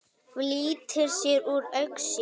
Flýtir sér úr augsýn.